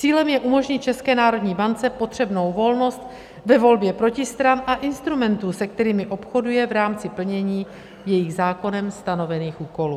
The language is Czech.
Cílem je umožnit České národní bance potřebnou volnost ve volbě protistran a instrumentů, se kterými obchoduje v rámci plnění svých zákonem stanovených úkolů.